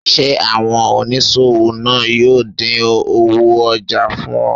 Ṣe oniṣowo naa yoo din owo ojà fun o?